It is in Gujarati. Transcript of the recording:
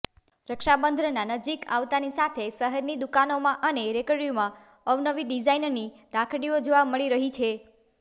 રક્ષાબંધના નજીક આવતાની સાથે શહેરની દુકાનોમાં અને રેકડીઓમાં અવનવી ડિઝાઇનની રાખડીઓ જોવા મળી રહી છે